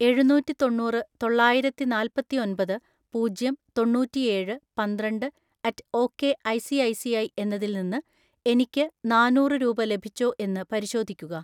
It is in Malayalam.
എഴുനൂറ്റിത്തൊണ്ണൂറ് തൊള്ളായിരത്തിനാല്പത്തിഒൻപത് പൂജ്യം തൊണ്ണൂറ്റിഏഴ് പന്ത്രണ്ട് at okay I C I C I എന്നതിൽ നിന്ന് എനിക്ക് നാന്നൂറ് രൂപ ലഭിച്ചോ എന്ന് പരിശോധിക്കുക.